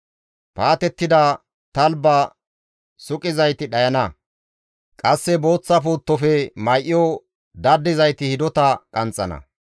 Paatettida talbba suqizayti dhayana; qasse booththa puuttofe may7o dadizayti hidota qanxxana.